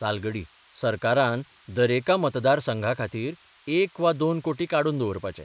तालगडी सरकारान दरेका मतदारसंघाखातीर एक वा दोन कोटी काडून दबरपाचे.